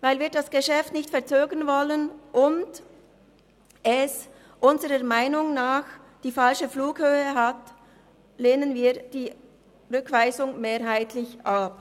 Weil wir das Geschäft nicht verzögern wollen und es unserer Meinung nach die falsche Flughöhe hat, lehnen wir die Rückweisung mehrheitlich ab.